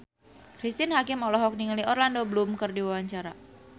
Cristine Hakim olohok ningali Orlando Bloom keur diwawancara